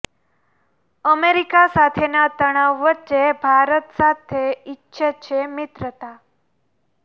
America સાથેના તણાવ વચ્ચે ભારત સાથે ઈચ્છે છે મિત્રતા